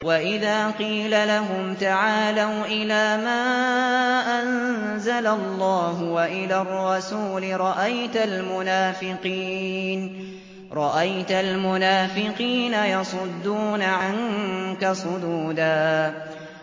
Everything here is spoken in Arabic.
وَإِذَا قِيلَ لَهُمْ تَعَالَوْا إِلَىٰ مَا أَنزَلَ اللَّهُ وَإِلَى الرَّسُولِ رَأَيْتَ الْمُنَافِقِينَ يَصُدُّونَ عَنكَ صُدُودًا